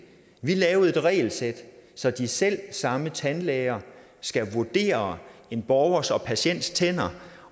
vi lavede et regelsæt så de selv samme tandlæger skal vurdere en borgers en patients tænder